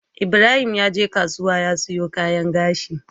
Ibrahim yaje kasuwa ya siyo kayan gashi